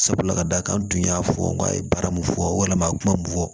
Sabula ka d'a kan n tun y'a fɔ n k'a ye baara mun fɔ wala a ye kuma mun fɔ